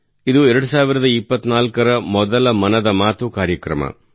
ಇದು 2024 ರ ಮೊದಲ ಮನದ ಮಾತು ಕಾರ್ಯಕ್ರಮವಾಗಿದೆ